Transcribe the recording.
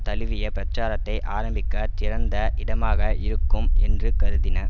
தழுவிய பிரச்சாரத்தை ஆரம்பிக்க சிறந்த இடமாக இருக்கும் என்று கருதின